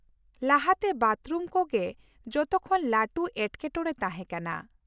ᱞᱟᱦᱟ ᱛᱮ ᱵᱟᱛᱷᱨᱩᱢ ᱠᱚ ᱜᱮ ᱡᱚᱛᱚ ᱠᱷᱚᱱ ᱞᱟᱹᱴᱩ ᱮᱴᱠᱮᱴᱚᱬᱮ ᱛᱟᱦᱮᱸ ᱠᱟᱱᱟ ᱾